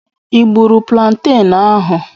I gburu planten ahụ?